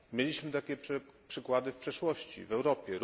Mieliśmy takie przykłady w przeszłości w Europie.